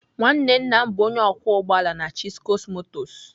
Nwanne nna m bụ onye ọkwọ ụgbọ ala na Chisco motors.